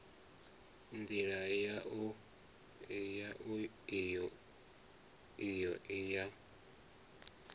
ndila yau iyo i ya